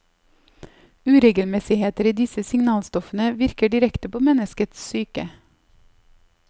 Uregelmessigheter i disse signalstoffene virker direkte på menneskets psyke.